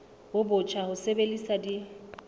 bo botjha le ho sebedisa